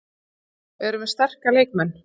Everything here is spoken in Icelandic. Við erum með sterka leikmenn.